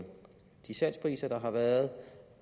de salgspriser der har været